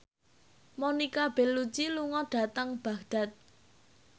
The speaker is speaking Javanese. Monica Belluci lunga dhateng Baghdad